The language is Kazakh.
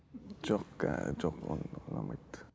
жоқ ііі жоқ ол ұнамайды